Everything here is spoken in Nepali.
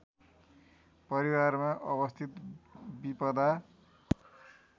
परिवारमा अवस्थित विपदा